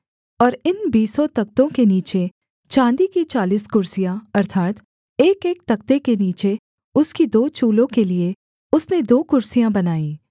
और इन बीसों तख्तो के नीचे चाँदी की चालीस कुर्सियाँ अर्थात् एकएक तख्ते के नीचे उसकी दो चूलों के लिये उसने दो कुर्सियाँ बनाईं